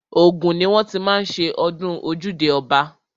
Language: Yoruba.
Ògùn ni wọ́n ti má ń ṣe ọdún ojúde ọba.